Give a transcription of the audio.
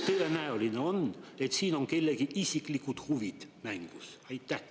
Kui tõenäoline on, et siin on kellegi isiklikud huvid mängus?